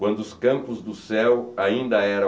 Quando os campos do céu ainda eram